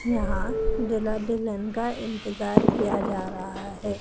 यहां दूल्हा दुल्हन का इंतजार किया जा रहा है।